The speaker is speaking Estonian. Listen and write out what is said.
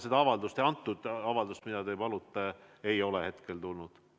Seda avaldust, mille kohta te küsite, ei ole veel tulnud.